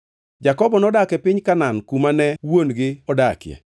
Jakobo nodak e piny Kanaan, kuma ne wuon-gi odakie.